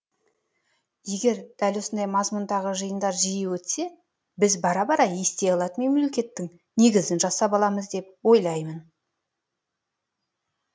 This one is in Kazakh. егер дәл осындай мазмұндағы жиындар жиі өтсе біз бара бара ести алатын мемлекеттің негізін жасап аламыз деп ойлаймын